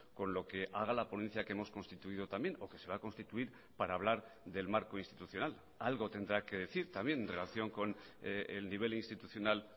con lo que haga la ponencia que hemos constituido también o que se va a constituir para hablar del marco institucional algo tendrá que decir también en relación con el nivel institucional